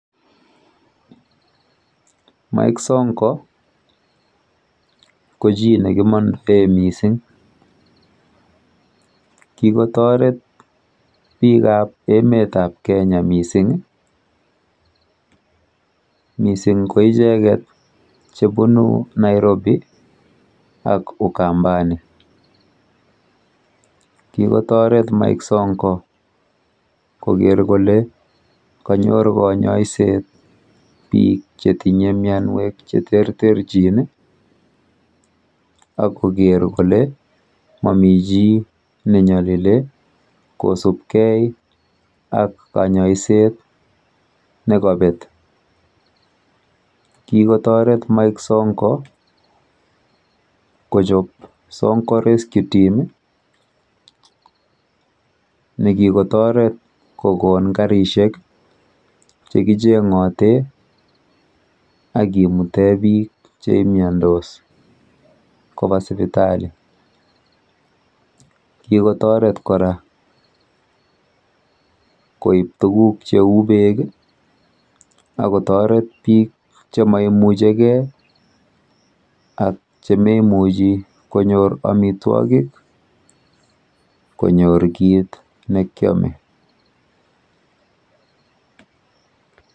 Mike Sonko ko chi nekimondoe mising. kikotoret biikap emetap Kenya mising, mising ko icheket chebunu Nairobi ak Ukambani. Kikotoret Mike Sonko koker kole kanyor kanyoiset biik chetinye mienwek cheterterchin akoker kole mami chi nenyolilei kosubkei ak kanyoiset nekapet. Kikotoret Mike Sonko kokon Sonko rescue team nekikotoret kokon karishek chekicheng'ote akimute biik cheimiandos kopa sipitali. Kikotoret kora koip tuguk cheu beek akotoret biik chemaimuchigei ak chimemuchi konyor amitwokik konyor kit nekyome.